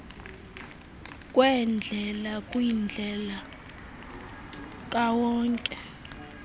kweendlela kwindlela kawonke